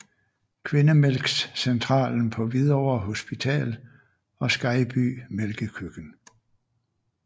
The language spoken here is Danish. Kvindemælkscentralen på Hvidovre Hospital og Skejby Mælkekøkken